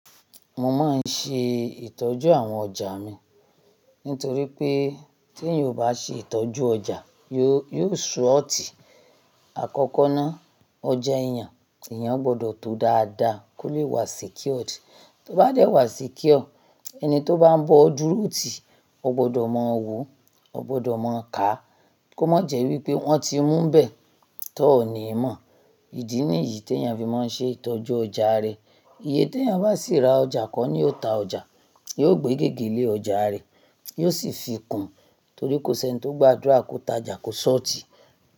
Mo máa ń ṣe ìtọ́jú àwọn ọjà mi nítorí pé tí èèyàn ò bá ṣe ìtọ́jú ọjà, yóò, yóò ṣọ́ọ̀tì. Àkọ́kọ́ náà, ọjà èèyàn, èèyàn gbọdọ̀ tó dáadáa kó lè wà secured. Tó bá dẹ̀ wà secure, ẹni tó bá ń bọ dúró ti, ó gbọdọ̀ máa wò ó, ó gbọdọ̀ máa kà á kó má jẹ́ wí pé wọ́n ti mún nbẹ̀ tó ò ní mọ̀. Ìdí nìyí tí èèyàn fi máa ń ṣe ìtọ́jú ọjà rẹ̀. Iye tí èèyàn bá sì ra ọjà kọ́ ní ó ta ọjà, yóò gbé gègé lé ọjà rẹ̀, yóò sì fi kùn torí kò sí ẹni tó gbàdúrà kó ta ọjà kó ṣọ́ọ̀tì.